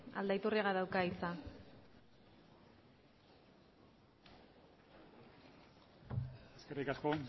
aldaiturriagak dauka hitza eskerrik asko